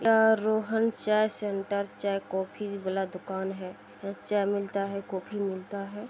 यहां रूहन चा सेंटर जा कॉफ़ी वाला दुकान है यहाँ चा मिलता है कॉफ़ी मिलता है।